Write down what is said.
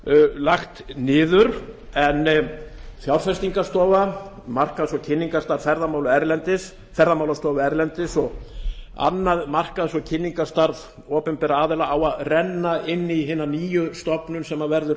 lagt niður en fjárfestingarstofa markaðs og kynningarstarf ferðamálastofu erlendis og annað markaðs og kynningarstarf opinberra aðila á að renna inn í hina nýju stofnun sem verður